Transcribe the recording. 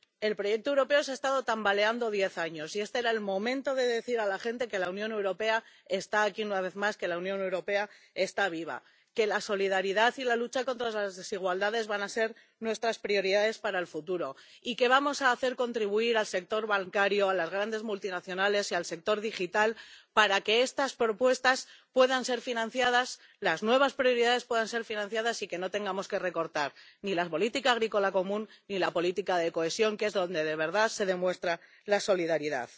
El proyecto europeo se ha estado tambaleando diez años, y este era el momento de decir a la gente que la Unión Europea está aquí una vez más, que la Unión Europea está viva, que la solidaridad y la lucha contra las desigualdades van a ser nuestras prioridades para el futuro y que vamos a hacer contribuir al sector bancario, a las grandes multinacionales y al sector digital para que estas propuestas puedan ser financiadas, para que las nuevas prioridades puedan ser financiadas y para que no tengamos que recortar ni la política agrícola común ni la política de cohesión, que es donde de verdad se demuestra la solidaridad.